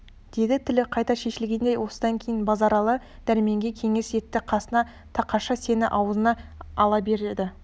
деді тілі қайта шешілгендей осыдан кейін базаралы дәрменге кеңес етті қасына тақашы сені аузына ала береді